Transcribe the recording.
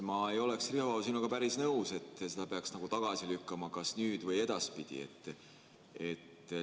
Ma ei oleks, Riho, sinuga päris nõus, et selle peaks tagasi lükkama kas nüüd või edaspidi.